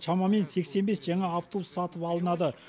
шамамен сексен бес жаңа автобус сатып алынады